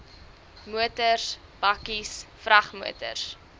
motors bakkies vragmotors